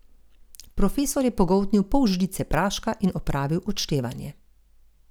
Profesor je pogoltnil pol žličke praška in opravil odštevanje.